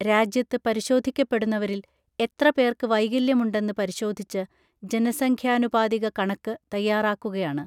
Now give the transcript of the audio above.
രാജ്യത്ത് പരിശോധിക്കപ്പെടുന്നവരിൽ എത്ര പേർക്ക് വൈകല്യമുണ്ടെന്ന് പരിശോധിച്ച് ജനസംഖ്യാനുപാതിക കണക്ക് തയ്യാറാക്കുകയാണ്